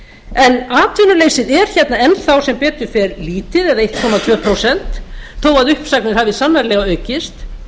en atvinnuleysið er hérna enn þá sem betur lítið eða einn komma tvö prósent þó uppsagnir hafi sannarlega aukist